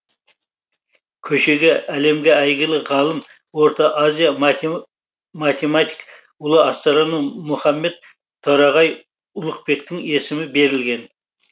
көшеге әлемге әйгілі ғалым орта азия математик ұлы астроном мұхаммед торағай ұлықбектің есімі берілген